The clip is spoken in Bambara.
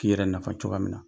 K'i yɛrɛ nafa cogoya min na.